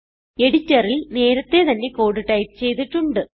എഡിറ്ററിൽ നേരത്തെ തന്നെ കോഡ് ടൈപ്പ് ചെയ്തിട്ടുണ്ട്